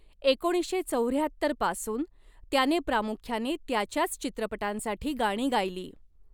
एकोणीसशे चौऱ्याहत्तर पासून त्याने प्रामुख्याने त्याच्याच चित्रपटांसाठी गाणी गायली.